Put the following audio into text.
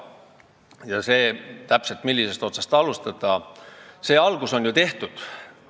Ja see, millisest otsast alustada, on ju teada, sellega on algust tehtud.